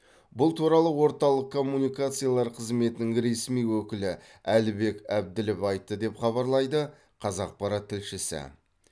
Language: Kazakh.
бұл туралы орталық коммуникациялар қызметінің ресми өкілі әлібек әбділов айтты деп хабарлайды қазақпарат тілшісі